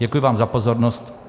Děkuji vám za pozornost.